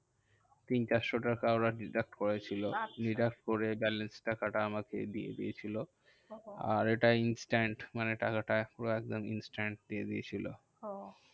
তিন চারশো টাকা ওরা deduct করেছিল। আচ্ছা deduct করে balance টাকাটা আমাকে দিয়ে দিয়েছিলো। ওহ আর এটা instant মানে টাকাটা ওরা একদম instant দিয়ে দিয়েছিলো। ওহ